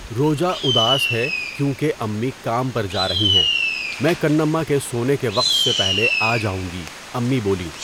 روجا اداس ہے کیوں کہ امی کام پر جا رہی ہیں میں کنّما کے سونے کے وقت سے پہلے آجاؤںگی امی بولیں.